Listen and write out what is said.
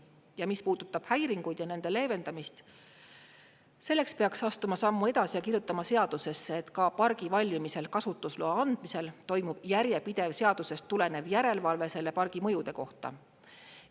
Ja mis puudutab häiringuid ja nende leevendamist, selleks peaks astuma sammu edasi ja kirjutama seadusesse, et ka pargi valmimisel kasutusloa andmisel toimub järjepidev seadusest tulenev järelevalve selle pargi mõjude kohta.